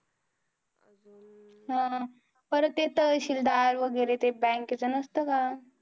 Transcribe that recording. हा! परत ते तहसीलदार वगैरे ते bank चं नसतं का.